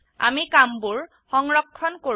আমি কামবোৰ সংৰক্ষণ কৰো